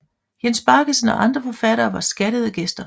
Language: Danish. Jens Baggesen og andre forfattere var skattede gæster